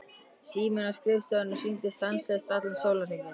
Síminn á skrifstofunni hringdi stanslaust allan sólarhringinn.